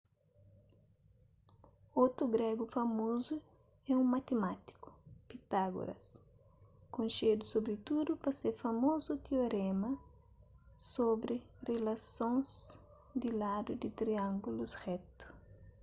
otu gregu famozu é un matimátiku pitágoras konxedu sobritudu pa se famozu tioréma sobri rilasons di ladu di triângulus retu